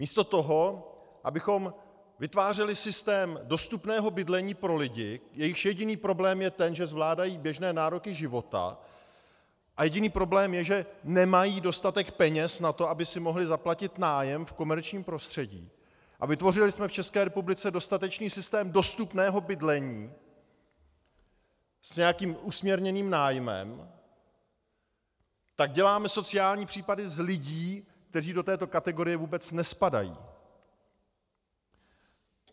Místo toho, abychom vytvářeli systém dostupného bydlení pro lidi, jejichž jediný problém je ten, že zvládají běžné nároky života, a jediný problém je, že nemají dostatek peněz na to, aby si mohli zaplatit nájem v komerčním prostředí, a vytvořili jsme v České republice dostatečný systém dostupného bydlení s nějakým usměrněným nájmem, tak děláme sociální případy z lidí, kteří do této kategorie vůbec nespadají.